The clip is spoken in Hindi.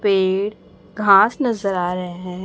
पेड़ घास नजर आ रहे हैं।